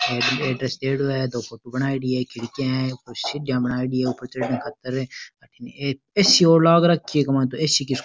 Address दियेड़ो है दो फोटो बनायेडी है खिड़कियां है ऊपर सीढियाँ बनायेडी है ऊपर चढ़न खातर अठीने एक ए.सी. और लाग रखी है इक मायने ए.सी. --